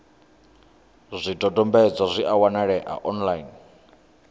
zwidodombedzwa zwi a wanalea online